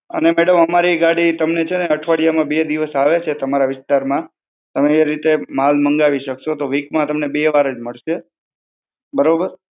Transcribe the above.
અને મેડમ અમારી ગાડી તમને છે ને અઠવાડિયામાં બે દિવસ આવે છે તમારા વિસ્તારમાં. તમે એ રીતે માલ મંગાવી શકશો. તો વીકમાં તમને બે વાર જ મળશે. બરોબર?